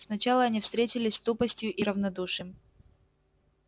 сначала они встретились с тупостью и равнодушием